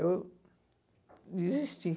Eu desisti.